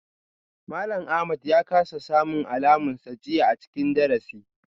Malam Ahmad ya kasa samun alamunsa jiya a cikin darasi.